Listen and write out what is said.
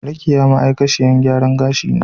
Rekiya ma'aikaciyar gyaran gashi ce.